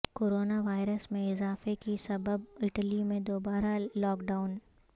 corona virus میں اضافے کے سبب اٹلی میں دوبارہ لاک ڈائون